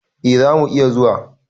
E, za mu iya zuwa.